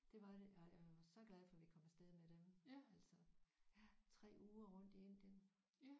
Det var det jeg jeg var så glad for vi kom af sted med dem altså ja 3 uger rundt i Indien